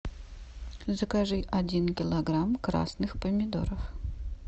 закажи один килограмм красных помидоров